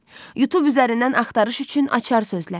YouTube üzərindən axtarış üçün açar sözlər.